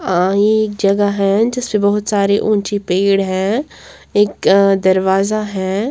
अ ये जगह है जिससे बहुत सारी ऊंची पेड़ हैं एक दरवाजा है।